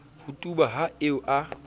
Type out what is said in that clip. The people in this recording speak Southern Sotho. ho tuba ha eo a